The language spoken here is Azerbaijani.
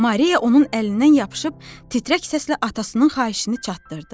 Maria onun əlindən yapışıb titrək səslə atasının xahişini çatdırdı.